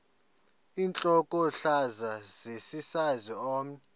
intlokohlaza sesisaz omny